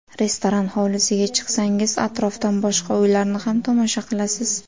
Restoran hovlisiga chiqsangiz, atrofdan boshqa uylarni ham tomosha qilasiz.